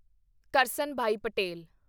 Karsanbhai Patel